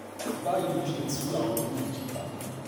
báyìí ló ṣe um tú àwọn méjèèjì ká